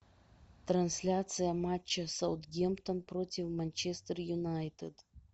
трансляция матча саутгемптон против манчестер юнайтед